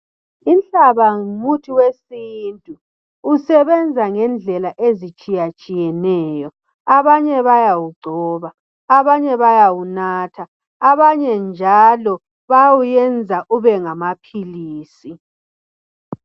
Inhlaba ngumuthi wesintu, usebenza ngendlela ezitshiyatshiyeneyo abanye bayawigcoba abanye bayawunatha abanye njalo bayawuyenza ube ngamaphilisi.